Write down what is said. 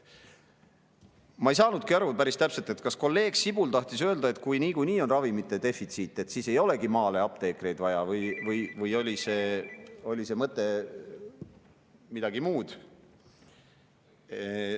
Ma ei saanudki päris täpselt aru, kas kolleeg Sibul tahtis öelda, et kui niikuinii on ravimite defitsiit, siis ei olegi maale apteekreid vaja, või oli mõte milleski muus.